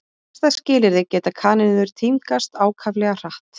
Við hagstæð skilyrði geta kanínur tímgast ákaflega hratt.